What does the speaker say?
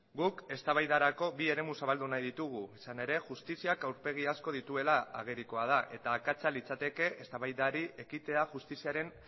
guk eztabaidarako bi eremu zabaldu nahi ditugu izan ere justiziak aurpegi asko dituela agerikoa da eta akatsa litzateke eztabaidari ekitea justiziaren